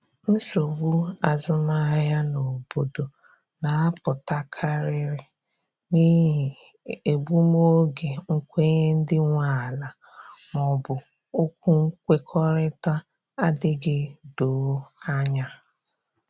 Nsogbu azụmahịa n’obodo na apụta karịrị n'ihi egbum oge nkwenye ndị nwe ala ma ọ bụ okwu nkwekọrịta adịghị doo anya